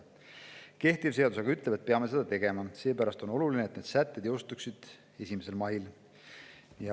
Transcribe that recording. Kehtiv seadus aga ütleb, et peame seda tegema, seepärast on oluline, et need sätted jõustuksid 1. maiks.